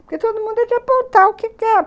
Porque todo mundo ia apontar o que quer.